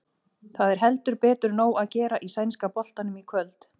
Það er heldur betur nóg að gera í sænska boltanum í kvöld.